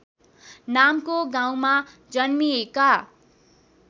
नामको गाउँमा जन्मिएका